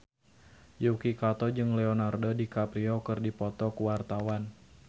Yuki Kato jeung Leonardo DiCaprio keur dipoto ku wartawan